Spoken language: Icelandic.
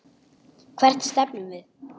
Hvert stefnum við?